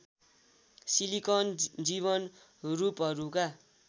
silicon जीवन रूपहरूका